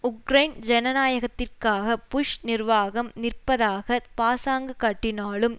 Ukraine ஜனநாயகத்திற்காக Bush நிர்வாகம் நிற்பதாக பாசாங்கு காட்டினாலும்